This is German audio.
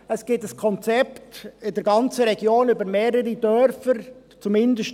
Es gibt in der ganzen Region, über mehrere Dörfer, ein Konzept.